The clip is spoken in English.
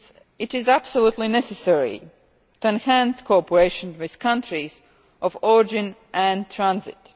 it is absolutely necessary to enhance cooperation with countries of origin and transit.